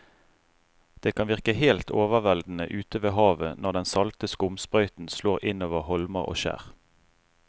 Det kan virke helt overveldende ute ved havet når den salte skumsprøyten slår innover holmer og skjær.